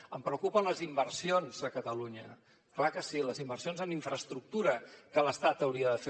em preocupen les inversions a catalunya clar que sí les inversions en infraestructura que l’estat hauria de fer